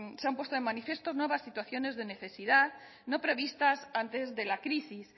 se han puesto de manifiesto nuevas situaciones de necesidad no previstas antes de la crisis